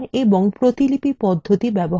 খ প্রতিলিপি পদ্ধতি ব্যবহার copy